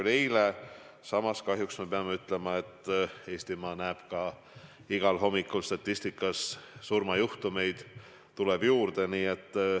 Samas peame kahjuks ütlema, et Eestimaa näeb igal hommikul, et statistikas tuleb surmajuhtumeid juurde.